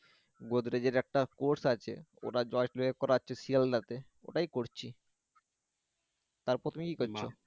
গোদরেজ এর একটা course আছে ওটা জয়টুয়ে করাচ্ছে শিয়ালদা তে ওটাই করছি তারপর তুমি কি করছো?